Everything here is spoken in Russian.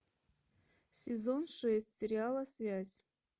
сезон шесть сериала связь